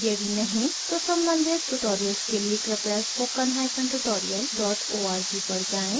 यदि नहीं तो सम्बंधित ट्यूटोरियल्स के लिए कृपया spoken hyphen tutorial dot org पर जाएँ